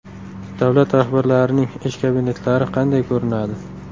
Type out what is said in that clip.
Davlat rahbarlarining ish kabinetlari qanday ko‘rinadi?